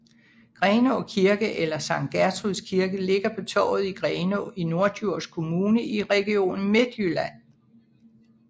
Grenaa Kirke eller Sankt Gertruds kirke ligger på Torvet i Grenaa i Norddjurs Kommune i Region Midtjylland